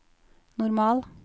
normal